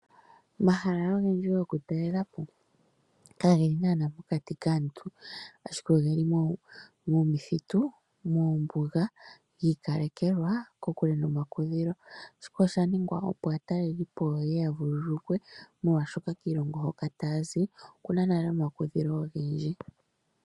Omahala ogendji gokutalela po kageli naana pokati kaantu, ashike ogeli momithitu, moombuga giikalekelwa kokule nomakudhilo shika oshaningwa woo opo aatalelipo yeye yavululukwe molwaashoka kiilongo hoka taya zi okuna nale omakudhilo ogendji.